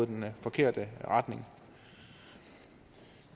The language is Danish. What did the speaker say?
den forkerte retning